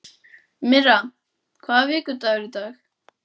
Myrra, hvaða vikudagur er í dag?